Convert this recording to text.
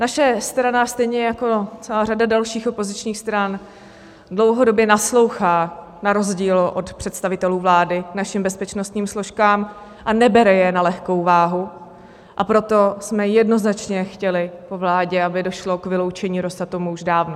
Naše strana stejně jako celá řada dalších opozičních stran dlouhodobě naslouchá na rozdíl od představitelů vlády našim bezpečnostním složkám a nebere je na lehkou váhu, a proto jsme jednoznačně chtěli po vládě, aby došlo k vyloučení Rosatomu už dávno.